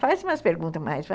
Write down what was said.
Faz umas perguntas mais.